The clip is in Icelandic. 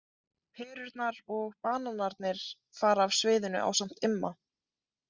Perurnar og bananarnir fara af sviðinu ásamt Imma.